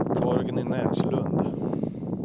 Torgny Näslund